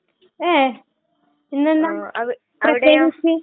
അതേ. ഇന്നെന്താ പ്രത്യേകിച്ച്?